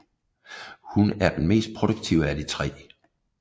Hun er den mest produktive af de tre